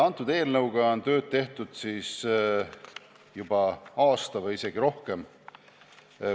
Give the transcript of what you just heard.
Selle kallal on tööd tehtud juba aasta või isegi rohkem.